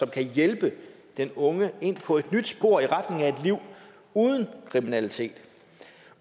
kan hjælpe den unge ind på et nyt spor i retning af et liv uden kriminalitet